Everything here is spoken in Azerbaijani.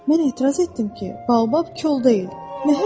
Mən etiraz etdim ki, Baobab kol deyil, məhəng ağacdır.